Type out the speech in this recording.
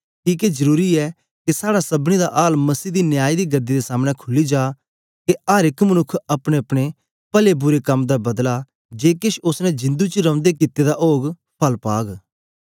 किके जरुरी ऐ के साड़ा सबनीं दा आल मसीह दी न्याय दी गदी दे सामने खुली जा के अर एक मनुक्ख अपनेअपने पले बुरे कम दा बदला जे केछ ओसने जिंदु च रौंदे कित्ते दा ओग फल पाग